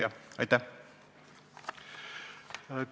Jah, aitäh!